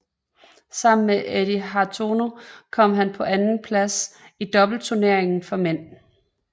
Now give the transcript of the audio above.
Sammen med Eddy Hartono kom han på en andenplads i doubleturneringen for mænd